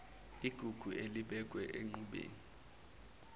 igugu elibekwe enqubeni